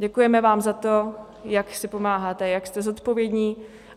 Děkujeme vám za to, jak si pomáháte, jak jste zodpovědní.